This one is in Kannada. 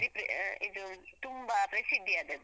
ಬಾರೀ ಹಾ ಇದು ತುಂಬ ಪ್ರಸಿದ್ಧಿ ಆದದ್ದು.